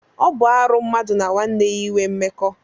Ọ bụ arụ mmadụ na nwanne ya inwe mmekọ.